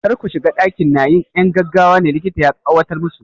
Kar ku shiga ɗakin! na 'yan gaggawa ne, likita ya tsawatar musu.